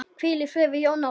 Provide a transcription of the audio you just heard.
Hvíl í friði, Jón Ólafur.